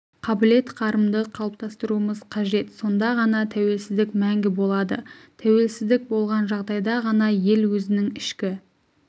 қабілет-қарымды қалыптастыруымыз қажет сонда ғана тәуелсіздік мәңгі болады тәуелсіздік болған жағдайда ғана ел өзінің ішкі